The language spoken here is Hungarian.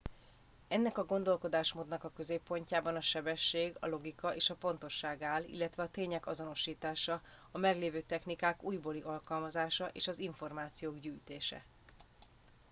ennek a gondolkodásmódnak a középpontjában a sebesség a logika és a pontosság áll illetve a tények azonosítása a meglévő technikák újbóli alkalmazása és az információk gyűjtése